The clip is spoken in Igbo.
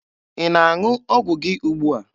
Ị na-aṅụ ọgwụ gị ugbua?